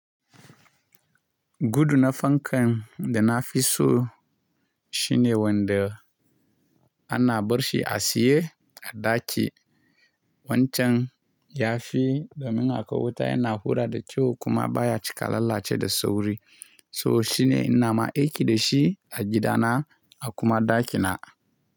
Gudu na fankan da na fi so shine wanda ana barshi a siye a ɗaki. Wancan ya fi domin a kawuta yana hura da kyau kuma baya cika lalace da sauri. So shine ina ma aiki da shi a gidana a kuma ɗakina.